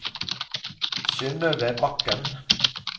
Synøve Bakken